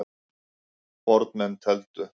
Fornmenn tefldu.